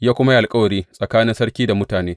Ya kuma yi alkawari tsakanin sarki da mutane.